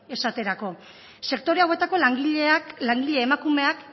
esaterako sektore hauetako langileak langile emakumeek